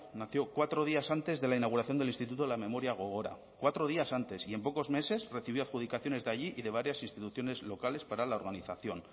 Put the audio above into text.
nació cuatro días antes de la inauguración del instituto de la memoria gogora cuatro días antes y en pocos meses recibió adjudicaciones de allí y de varias instituciones locales para la organización